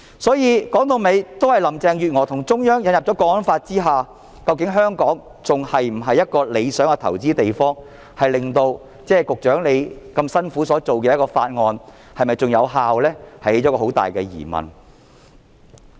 所以，說到底，在林鄭月娥與中央引入了《港區國安法》之後，究竟香港還是否一個理想的投資地方，令到局長如此辛苦訂立的一項法案仍然有效這方面起了一個很大的疑問。